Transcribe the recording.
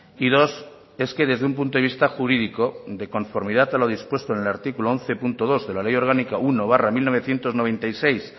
y dos es que desde un punto de vista jurídico de conformidad a lo dispuesto en el artículo once punto dos de la ley orgánica uno barra mil novecientos noventa y seis